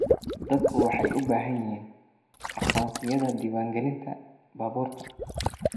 Dadku waxay u baahan yihiin aqoonsiyada diiwaangelinta baabuurta.